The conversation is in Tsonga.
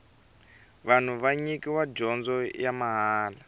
vanhu va nyikiwa dyondzo ya mahala